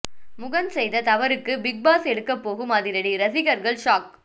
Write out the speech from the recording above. முகென் செய்த தவறுக்கு Bigg Boss எடுக்க போகும் அதிரடி ரசிகர்கள் ஷாக்